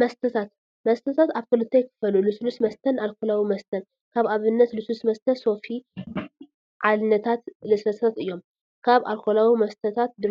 መስተታት፡- መስተታት ኣብ ክልተ ይኽፈሉ፡፡ ልስሉስ መስተን ኣልኮላዊ መስተን፡፡ ካብ ኣብነታት ልስሉስ መስተታት ሶፊ፣ ዓልነታት ለስላሳታት እዮም፡፡ ካብ ኣልኮላዊ መስተታት ድ